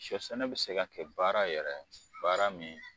Sɔ sɛnɛ be se ka kɛ baara yɛrɛ baara min